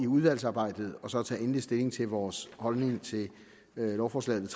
udvalgsarbejdet og så tage endelig stilling til vores holdning til lovforslaget